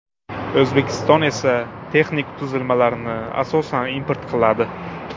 O‘zbekiston esa texnik tuzilmalarni, asosan, import qiladi.